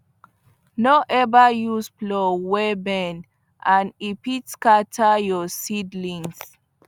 no ever use plow wey bend and e fit scatter your seedlings